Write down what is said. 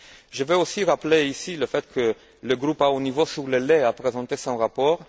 Je veux aussi rappeler ici que le groupe de haut niveau sur le lait a présenté son rapport.